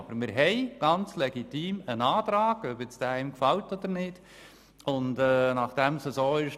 Wir haben einen völlig legitimen Antrag erhalten, der einem gefallen kann oder auch nicht.